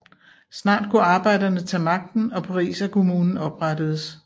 Snart kunne arbejderne tage magten og Pariserkommunen oprettedes